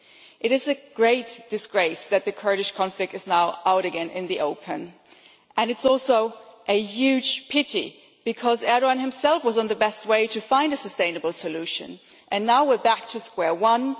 It is a great disgrace that the Kurdish conflict is now out again in the open and it is also a huge pity, because Erdoğan himself was on the best way to find a sustainable solution, and now we are back to square one.